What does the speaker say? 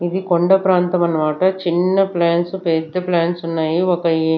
ఇది కొండ ప్రాంతం అన్నమాట చిన్న ప్లాంట్స్ పెద్ద ప్లాంట్స్ ఉన్నాయి ఒక ఏ--